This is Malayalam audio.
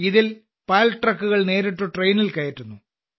ഇതിൽ പാൽ ട്രക്കുകൾ നേരിട്ട് ട്രെയിനിൽ കയറ്റുന്നു